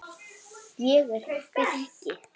Ég er birki.